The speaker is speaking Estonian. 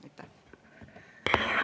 Aitäh!